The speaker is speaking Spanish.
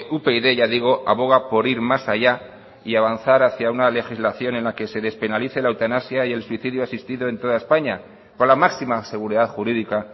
upyd ya digo aboga por ir más allá y avanzar hacia una legislación en la que se despenalice la eutanasia y el suicidio asistido en toda españa con la máxima seguridad jurídica